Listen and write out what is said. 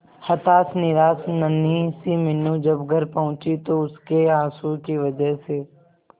हताश निराश नन्ही सी मीनू जब घर पहुंची तो उसके आंसुओं की वजह से